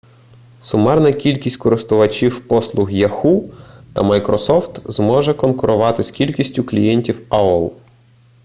сумарна кількість користувачів послуг яху та майкрософт зможе конкурувати з кількістю клієнтів аол